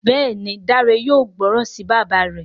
Béèni Dare yóò gbóròn sí bàbá rẹ.